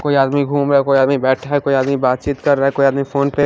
कोई आदमी घूम रहा कोई आदमी बैठा है कोई आदमी बातचीत कर रहा है कोई आदमी फोन पर --